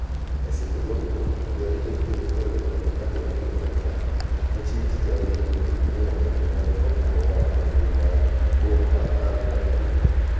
Eseche gogo go, jo arita kwee dhi mbele kod nyagore gi jomang'anyo machieng tich ariyo negikeyo negi muya malungo wang' ugwe mar boma ma al-Qadarif.